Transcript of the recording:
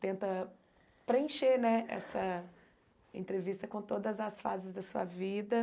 Tenta preencher né essa entrevista com todas as fases da sua vida.